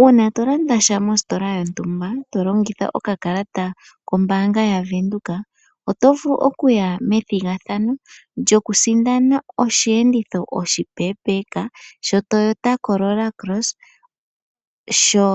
Uuna tolanda sha mostola yontumba tolongitha okakalata koombanga yaVenduka, oto vulu okuya methigathano lyokusindana oshiyenditho oshi peepeka sho Toyota Corolla Cross sho